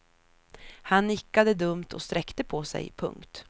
Han nickade dumt och sträckte på sej. punkt